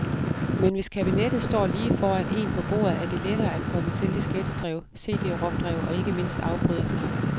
Men hvis kabinettet står lige foran en på bordet, er det lettere et komme til diskettedrev, CD rom drev og ikke mindst afbryderknappen.